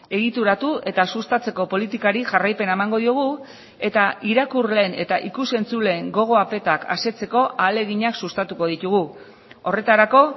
egituratu eta sustatzeko politikari jarraipena emango diogu eta irakurleen eta ikus entzuleen gogo apetak asetzeko ahaleginak sustatuko ditugu horretarako